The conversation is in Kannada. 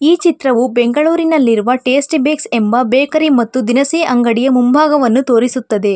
ಈ ಚಿತ್ರವು ಬೆಂಗಳೂರಿನಲ್ಲಿರುವ ಟೇಸ್ಟಿ ಬೇಕ್ಸ್ ಎಂಬ ಬೇಕರಿ ಮತ್ತು ದಿನಸಿ ಅಂಗಡಿಯ ಮುಂಭಾಗವನ್ನು ತೋರಿಸುತ್ತದೆ.